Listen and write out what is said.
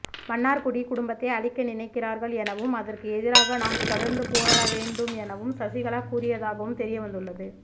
மன்னார்குடி குடும்பத்தை அழிக்க நினைக்கிறார்கள் எனவும் அதற்கு எதிராக நாம் தொடர்ந்து போராட வேண்டும் எனவும் சசிகலா கூறியதாகவும் தெரியவந்துள்ளது